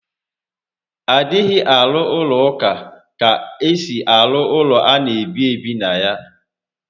A dịghị arụ ụlọ ụka ka esi arụ ụlọ ana ebi ebi na ya